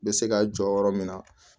Bɛ se ka jɔ yɔrɔ min na